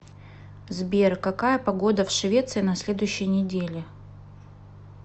сбер какая погода в швеции на следующей неделе